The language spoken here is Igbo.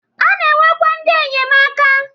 A na-enwekwa ndị enyemaka.